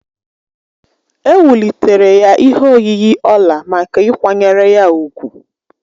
Ewulitere ya ihe oyiyi ọla maka ịkwanyere ya úgwù.